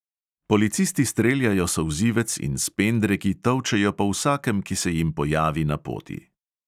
Policisti streljajo solzivec in s pendreki tolčejo po vsakem, ki se jim pojavi na poti.